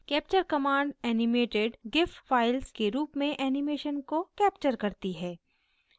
capture command animated gif files के रूप में एनीमेशन को capture करती है